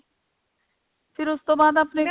ਫੇਰ ਉਸਤੋਂ ਬਾਅਦ ਆਪਣੇ